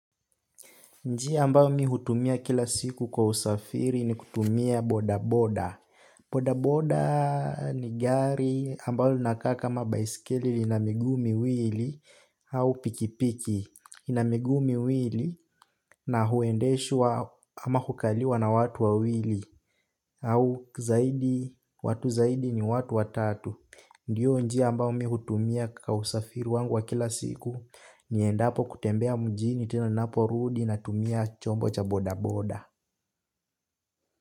Njia ambayo mi hutumia kila siku kwa usafiri ni kutumia boda boda. Boda boda ni gari ambalo linaka kama baiskeli lina miguu miwili au pikipiki. Ina miguu miwili na huendeshwa ama kukaliwa na watu wawili au zaidi, watu zaidi ni watu watatu. Ndiyo njia ambayo mi hutumia kwa usafiri wangu wa kila siku. Niendapo kutembea mjini tena ninapo rudi na tumia chombo cha boda boda.